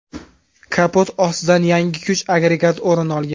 Kapot ostidan yangi kuch agregati o‘rin olgan.